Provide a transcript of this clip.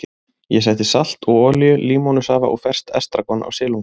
Ég setti salt og olíu, límónusafa og ferskt estragon á silunginn.